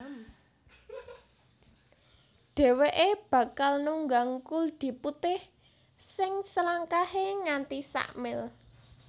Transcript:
Dhèwèké bakal nunggang kuldi putih sing selangkahé nganti sa mil